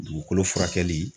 Dugukolo furakɛli